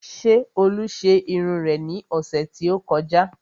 Ṣé olú ṣe irun rẹ ní ọ̀sẹ̀ tí ó kọjá?